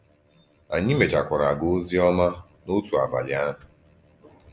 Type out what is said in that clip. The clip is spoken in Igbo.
Ànyí méchàkwàrā gàà òzì òma n’òtù àbálí àhụ̀.